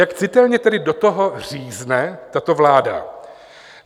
Jak citelně tedy do toho řízne tato vláda?